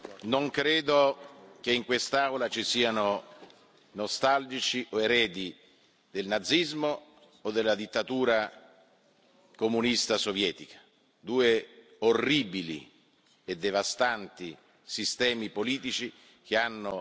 Non credo che in quest'Aula ci siano nostalgici o eredi del nazismo o della dittatura comunista sovietica, due orribili e devastanti sistemi politici che hanno